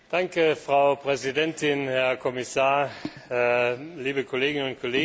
Frau Präsidentin, Herr Kommissar, liebe Kolleginnen und Kollegen!